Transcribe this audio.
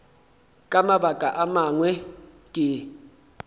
ka mabaka a mangwe ke